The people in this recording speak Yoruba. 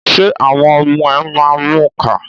Ṣé àwọn ọmọ ẹ máa ń mù ka?